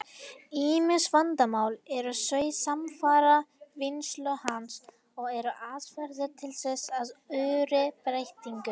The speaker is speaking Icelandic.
Ýmis vandamál eru þó samfara vinnslu hans, og eru aðferðir til þess í örri breytingu.